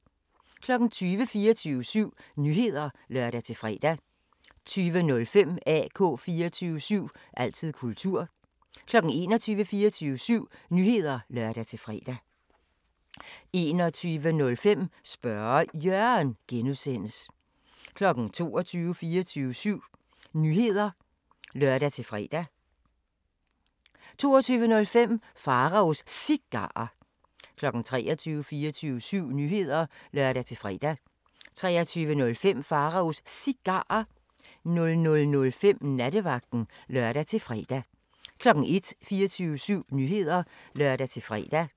20:00: 24syv Nyheder (lør-fre) 20:05: AK 24syv – altid kultur 21:00: 24syv Nyheder (lør-fre) 21:05: Spørge Jørgen (G) 22:00: 24syv Nyheder (lør-fre) 22:05: Pharaos Cigarer 23:00: 24syv Nyheder (lør-fre) 23:05: Pharaos Cigarer 00:05: Nattevagten (lør-fre) 01:00: 24syv Nyheder (lør-fre)